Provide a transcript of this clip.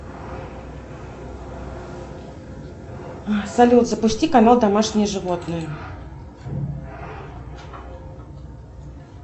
салют запусти канал домашние животные